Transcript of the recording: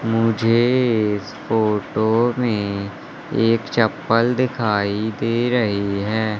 मुझे इस फोटो में एक चप्पल दिखाई दे रही है।